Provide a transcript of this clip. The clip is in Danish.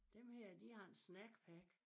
Dem her de har en snack pack